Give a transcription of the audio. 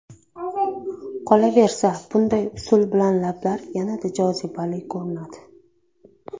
Qolaversa bunday usul bilan lablar yanada jozibali ko‘rinadi.